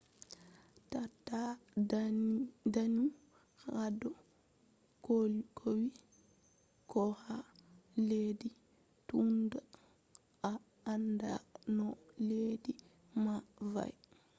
taata daanu hado cowi koha leddi tunda a anda no leddi man va’e